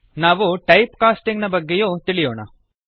ನಾವು type casting ನ ಬಗ್ಗೆಯೂ ತಿಳಿಯೋಣ